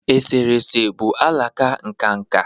eserese bụ alaka nka nka